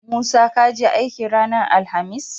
Musa kaje aiki ranar alahamis?